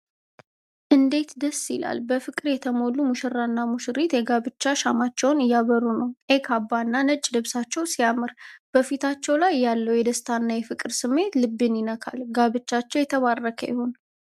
እንዴት ደስ ይላል! በፍቅር የተሞሉ ሙሽራና ሙሽሪት የጋብቻ ሻማቸውን እያበሩ ነው። ቀይ ካባና ነጭ ልብሳቸው ሲያምር! በፊታቸው ላይ ያለው የደስታና የፍቅር ስሜት ልብን ይነካል። ጋብቻቸው የተባረከ ይሁን!